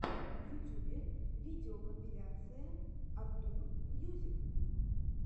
в ютюбе видеокомпиляция артур мьюзик